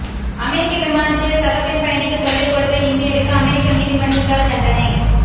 அமெரிக்க விமானத்தில் சகபெண் பயணிக்கு தொல்லை கொடுத்த இந்தியருக்கு அமெரிக்க நீதிமன்றத்தால் தண்டனை